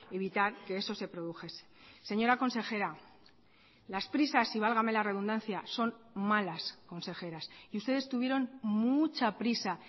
evitar que eso se produjese señora consejera las prisas y válgame la redundancia son malas consejeras y ustedes tuvieron mucha prisa